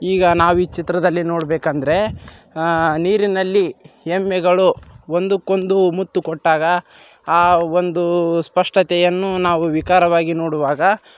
ಈಗ ನಾವು ಈ ಚಿತ್ರದಲ್ಲಿ ನೋಡಬೇಕಂದ್ರೆ ಅಹ್ ನೀರಿನಲ್ಲಿ ಎಮ್ಮೆಗಳು ಒಂದುಕ್ಕೊಂಡು ಮುತ್ತು ಕೊಟ್ಟಾಗ ಆ ಒಂದು ಸ್ಪಷ್ಟತೆಯನ್ನು ನಾವು ವಿಕಾರವಾಗಿ ನೋಡುವಾಗ--